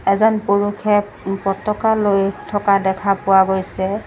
এজন পুৰুখে পতকা লৈ থকা দেখা পোৱা গৈছে।